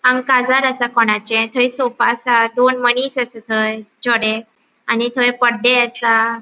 हांगा काजार आसा कोणाचे थय सोफ़ा आसा दोन मनिस असा थय चड़े आणि थय पड्डे असा.